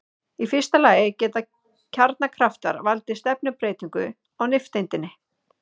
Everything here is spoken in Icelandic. Í fyrsta lagi geta kjarnakraftar valdið stefnubreytingu á nifteindinni.